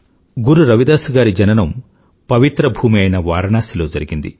గురు రవిదాస్ గారి జననం ప్రవిత్ర భూమి అయిన వారణాసిలో జరిగింది